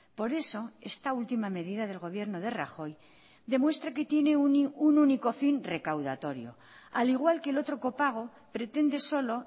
por eso esta última medida del gobierno de rajoy demuestra que tiene un único fin recaudatorio al igual que el otro copago pretende solo